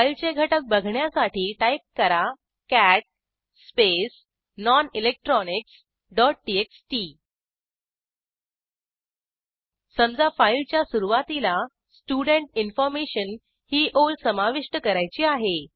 फाईलचे घटक बघण्यासाठी टाईप करा कॅट स्पेस nonelectronicsटीएक्सटी समजा फाईलच्या सुरूवातीला स्टुडेंट इन्फॉर्मेशन ही ओळ समाविष्ट करायची आहे